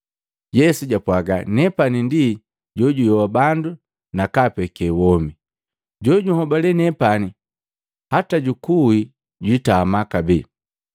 Yesu jwapwaga, “Nepani ndi jojuyoha bandu nakaapeke womi. Jojunhobale nepani hata najuwi, jwitama kabee,